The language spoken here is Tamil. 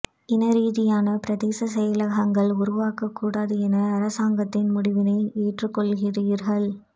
இன ரீதியான பிரதேச செயலகங்கள் உருவாக்கக் கூடாது என அரசாங்கத்தின் முடிவினை ஏற்றுக்கொள்கிறீர்கள்